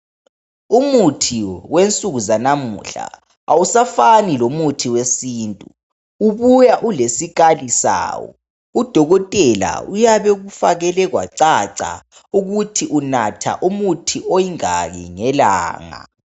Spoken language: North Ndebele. Umuthi wensuku zanamuhla awusafani lomuthi wesintu, ubuya ulesikali sawo. Udokotela uyabekufakele kwacaca ukuthi unatha umuthi oyingaki ngelanga.